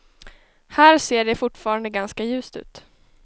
Här ser det fortfarande ganska ljust ut.